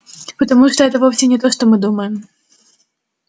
потому что это вовсе не то что мы думаем